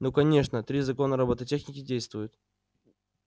ну конечно три закона роботехники действуют